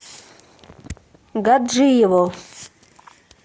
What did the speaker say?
гаджиево